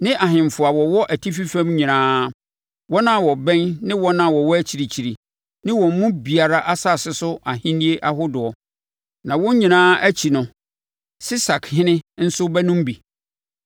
ne ahemfo a wɔwɔ atifi fam nyinaa, wɔn a wɔbɛn ne wɔn a wɔwɔ akyirikyiri, ne wɔn mu biara, asase so ahennie ahodoɔ. Na wɔn nyinaa akyi no Sesakhene nso bɛnom bi.